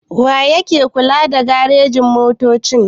Wa yake kula da garejin-motoci?